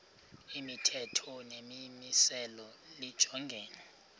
imithetho nemimiselo lijongene